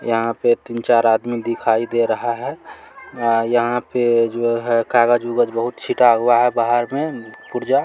यहां पर तीन-चार आदमी दिखाई दे रहा है यहां पर जो है कागज उगज बहुत छीटा उता हुआ है बाहर में पुरजा--